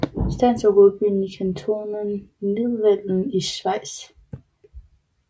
Stans er hovedbyen i kantonen Nidwalden i Schweiz